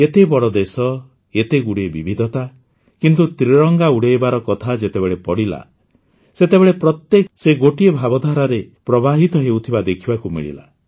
ଏତେ ବଡ଼ ଦେଶ ଏତେଗୁଡ଼ିଏ ବିବିଧତା କିନ୍ତୁ ତ୍ରିରଙ୍ଗା ଉଡ଼ାଇବାର କଥା ଯେତେବେଳେ ଆସିଲା ସେତେବେଳେ ପ୍ରତ୍ୟେକ ସେହି ଗୋଟିଏ ଭାବଧାରାରେ ପ୍ରବାହିତ ହେଉଥିବା ଦେଖିବାକୁ ମିଳିଲା